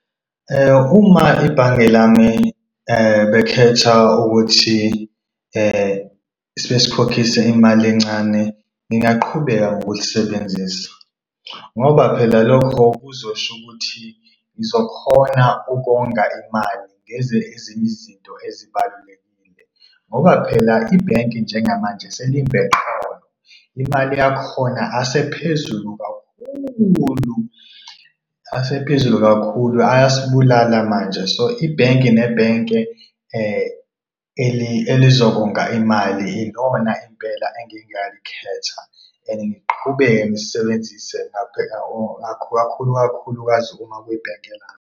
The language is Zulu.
Uma ebhange lami bekhetha ukuthi sesikhokhisa imali encane, ngingaqhubeka ngokulisebenzisa ngoba phela lokho kuzosho ukuthi ngizokhona ukonga imali ngenze ezinye izinto ezibalulekile. Ngoba phela ibhenki njengamanje selimba eqolo, imali yakhona asephezulu kakhulu asephezulu kakhulu, ayasibulala manje. So, ibhenki nebhenki elilodwa imali ilona impela engingalikhetha and ngiqhubeke ngisebenzise ikakhulukazi uma kwibhenki lami.